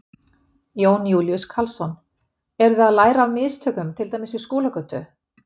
Jón Júlíus Karlsson: Eru þið að læra af mistökum til dæmis við Skúlagötu?